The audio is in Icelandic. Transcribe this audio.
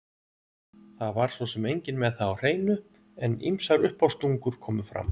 Það var svo sem enginn með það á hreinu, en ýmsar uppástungur komu fram